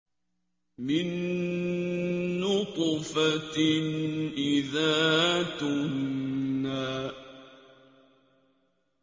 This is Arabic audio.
مِن نُّطْفَةٍ إِذَا تُمْنَىٰ